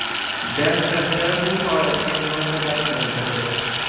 DXX bu holatga munosabat bildirdi.